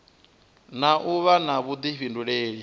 na u vha na vhuḓifhinduleli